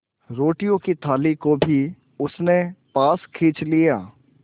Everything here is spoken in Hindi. रोटियों की थाली को भी उसने पास खींच लिया